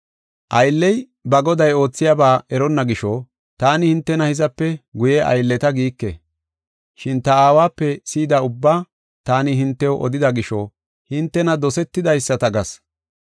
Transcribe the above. “Aylley ba goday oothiyaba eronna gisho taani hintena hizape guye aylleta giike. Shin ta Aawape si7ida ubbaa taani hintew odida gisho hintena dosetidaysata gas.